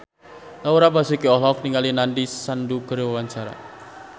Laura Basuki olohok ningali Nandish Sandhu keur diwawancara